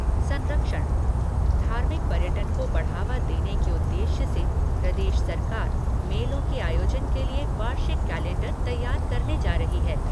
संरक्षण धार्मिक पर्यटन को बढावा देने के उद्देश्य से प्रदेश सरकार मेलों के आयोजन के लिए वार्षिक कैलेंडर तैयार करने जा रही है।